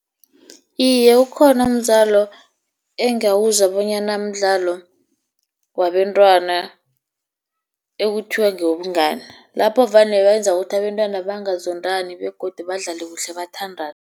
Iye, ukhona umdlalo engawuzwa bonyana mdlalo wabentwana, ekuthiwa ngewobungani lapho vane benza ukuthi abentwana bangazondani, begodu badlale kuhle bathandane.